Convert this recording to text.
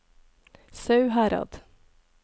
Sauherad